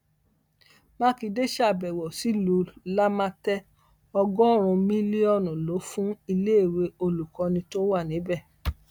mákindé ṣàbẹwò sílùú làǹlàtẹ ọgọrùnún mílíọnù ló fún iléèwé olùkọni tó wà níbẹ